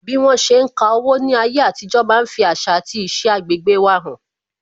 Bí wọn ṣe ń ka owó ní ayé àtijó máa ń fi àṣà àti iṣẹ agbegbe wa han